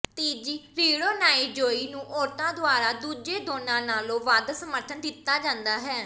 ਤੀਜੀ ਰੀੜ੍ਹੋਨਾਈਜ਼ੋਈ ਨੂੰ ਔਰਤਾਂ ਦੁਆਰਾ ਦੂਜੇ ਦੋਨਾਂ ਨਾਲੋਂ ਵੱਧ ਸਮਰਥਨ ਦਿੱਤਾ ਜਾਂਦਾ ਹੈ